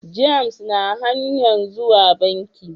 James na hanyan zuwa banki.